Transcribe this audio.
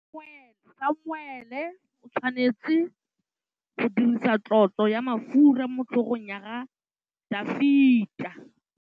Samuele o tshwanetse go dirisa tlotsô ya mafura motlhôgong ya Dafita.